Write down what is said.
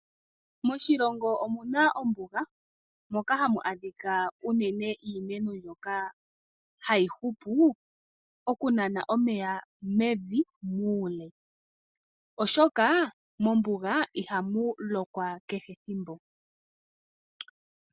Moshilongo omuna ombuga moka hamu adhika unene iimeno mbyoka hayi hupu oku nana omeya mevi muule. Oshoka mombuga ihamu lokwa kehe ethimbo.